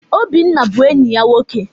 Obinna bụ enyi ya nwoke.